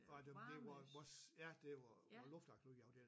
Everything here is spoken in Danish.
Den det var ja det var luftagtigt ude i afdeling